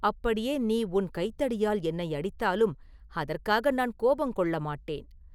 அப்படியே நீ உன் கைத்தடியால் என்னை அடித்தாலும் அதற்காக நான் கோபங்கொள்ள மாட்டேன்.